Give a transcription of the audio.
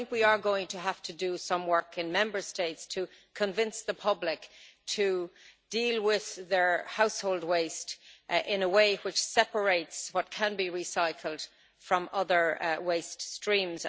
However, we are going to have to do some work in Member States to convince the public to deal with their household waste in a way that separates what can be recycled from other waste streams.